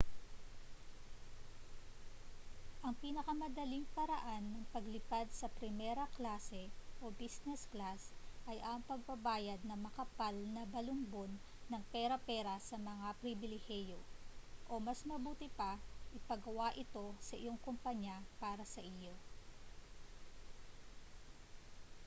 ang pinakamadaling paraan ng paglipad sa primera klase o business class ay ang pagbabayad ng makapal na balumbon ng pera para sa may pribilehiyo o mas mabuti pa ipagawa ito sa iyong kompanya para sa iyo